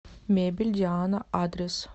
мебель диана адрес